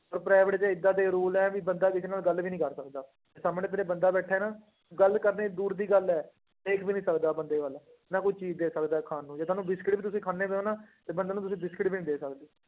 ਉਹ private 'ਚ ਏਦਾਂ ਦੇ rule ਹੈ ਵੀ ਬੰਦਾ ਕਿਸੇ ਨਾਲ ਗੱਲ ਵੀ ਨੀ ਕਰ ਸਕਦਾ, ਜੇ ਸਾਹਮਣੇ ਤੇਰੇ ਬੰਦਾ ਬੈਠਾ ਹੈ ਨਾ ਗੱਲ ਕਰਨੀ ਦੂਰ ਦੀ ਗੱਲ ਹੈ, ਦੇਖ ਵੀ ਨੀ ਸਕਦਾ ਬੰਦੇ ਵੱਲ, ਨਾ ਕੋਈ ਚੀਜ਼ ਦੇ ਸਕਦਾ ਖਾਣ ਨੂੰ ਜੇ ਤੁਹਾਨੂੰ ਬਿਸਕੁਟ ਵੀ ਤੁਸੀਂ ਖਾਂਦੇ ਪਏ ਹੋ ਨਾ, ਤੇ ਬੰਦੇ ਨੂੰ ਤੁਸੀਂ ਬਿਸਕੁਟ ਵੀ ਨੀ ਦੇ ਸਕਦੇ।